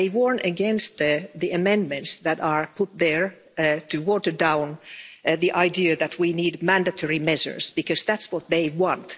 They warn against the amendments that are put there to water down the idea that we need mandatory measures, because that's what they want.